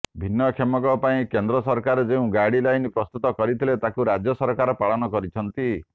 ଭିନ୍ନକ୍ଷମଙ୍କ ପାଇଁ କେନ୍ଦ୍ର ସରକାର ଯେଉଁ ଗାଇଡଲାଇନ ପ୍ରସ୍ତୁତ କରିଥିଲେ ତାକୁ ରାଜ୍ୟ ସରକାର ପାଳନ କରିଛନ୍ତି